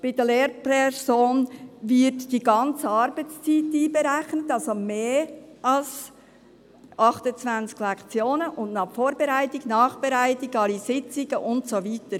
bei der Lehrperson wird die ganze Arbeitszeit einberechnet, also mehr als 28 Lektionen, und noch die Vorbereitung, die Nachbereitung, alle Sitzungen und so weiter.